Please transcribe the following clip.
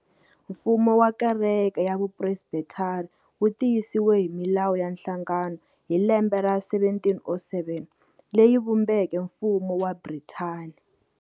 Mfumo wa kereke ya Vu Presbethari wu tiyisiwe hi milawu ya nhlangano hi lembe ra 1707, leyi vumbeke mfumo wa Brithani.